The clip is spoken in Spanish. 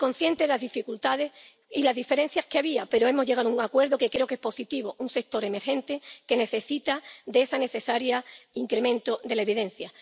Soy consciente de las dificultades y las diferencias que había, pero hemos llegado a un acuerdo que creo que es positivo, en un sector emergente que necesita de ese necesario incremento de la evidencia.